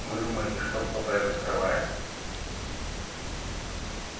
вы думаете что кто-то это скрывает